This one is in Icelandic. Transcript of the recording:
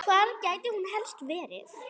Hvar gæti hún helst verið?